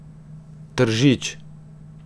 Tržič.